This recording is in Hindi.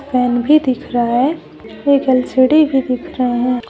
फैन भी दिख रहा है एक एल_सी_डी भी दिख रहे हैं।